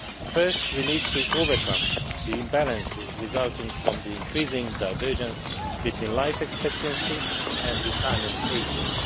First, we need to overcome the imbalances resulting from the increasing divergence between life expectancy and retirement ages.